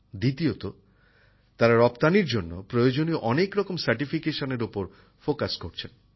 দ্বিতীয়ত তারা রপ্তানির জন্য প্রয়োজনীয় অনেক রকম সার্টিফিকেশনের ওপর গুরুত্ব দিচ্ছেন